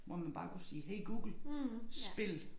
Hvor man bare kunne sige hey Google spil!